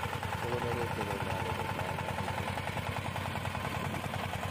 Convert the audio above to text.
Kogonerekio china agopo mwaet ap india.